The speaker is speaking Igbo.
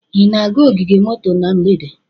Ị na-aga ogige moto na mgbede?